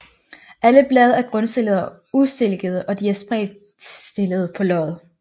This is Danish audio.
Alle blade er grundstillede og ustilkede og de er spredt stillede på løget